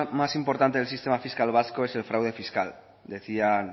más importante del sistema fiscal vasco es fraude fiscal decía